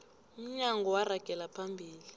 umnyango waragela phambili